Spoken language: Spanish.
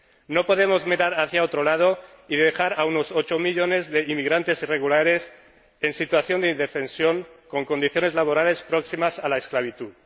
No podemos mirar hacia otro lado y dejar a unos ocho millones de inmigrantes irregulares en situación de indefensión con condiciones laborales próximas a la esclavitud.